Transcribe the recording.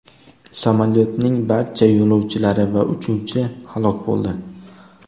Samolyotning barcha yo‘lovchilari va uchuvchi halok bo‘ldi.